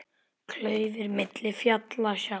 Klaufir milli fjalla sá.